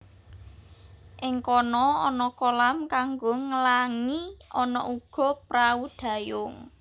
Ing kono ana kolam kanggo nglangi ana uga prahu dayung